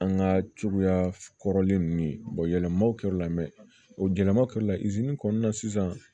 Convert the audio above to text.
An ka cogoya kɔrɔlen ninnu yɛlɛmaw kɛr'u la mɛn o yɛlɛma kɛrɔri la kɔnɔna na sisan